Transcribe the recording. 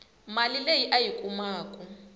mali leyi a yi kumaku